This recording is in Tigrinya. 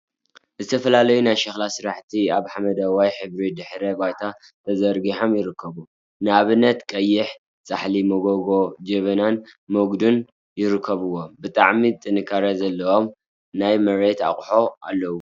ዝተፈላለዩ ናይ ሸኽላ ስራሕቲ ኣብ ሓመደዋይ ሕብሪ ድሕረ ባይታ ተዘርጊሖም ይርከቡ። ንኣብነት ቀይሕ ጻሕሊ፣ መጎጎ፣ ጅበናን መጉዱን ይርከብዎም። ብጣዕሚ ጥንካረ ዘለዎም ናይ መሬት ኣቁሑ ኣለው።